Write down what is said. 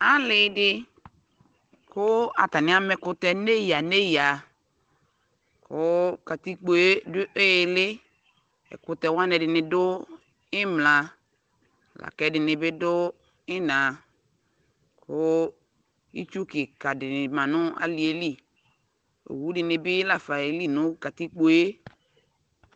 ali di kʋ atani ama ɛkʋtɛ nʋ ɛya ɛya kʋ katikpɔɛ dʋ ili, ɛkʋtɛ wani ɛdini dʋ imla lakʋ ɛdini bi dʋ ina kʋ itsʋ kika di manʋ aliɛli, ɔwʋ dinibi laƒa yɛli nʋ katikpɔɛ